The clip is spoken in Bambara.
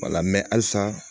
halisa